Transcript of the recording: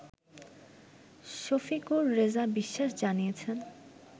শফিকুর রেজা বিশ্বাস জানিয়েছেন